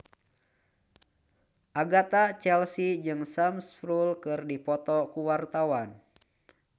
Agatha Chelsea jeung Sam Spruell keur dipoto ku wartawan